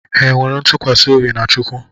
Ha nwere ntụkwasị obi na Chukwu?